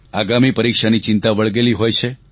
આગામી પરીક્ષાની ચિંતા વળગેલી હોય છે